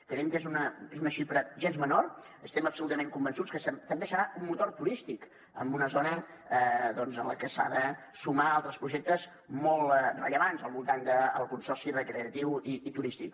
creiem que és una xifra gens menor estem absolutament convençuts que també serà un motor turístic en una zona en la que s’han de sumar altres projectes molt rellevants al voltant del consorci recreatiu i turístic